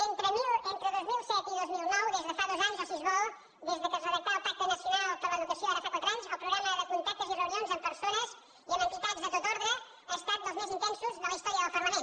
entre dos mil set i dos mil nou des de fa dos anys o si es vol des que es redactà el pacte nacional per a l’educació ara fa quatre anys el programa de contactes i reunions amb persones i amb entitats de tot ordre ha estat dels més intensos de la història del parlament